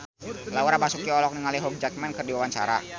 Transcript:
Laura Basuki olohok ningali Hugh Jackman keur diwawancara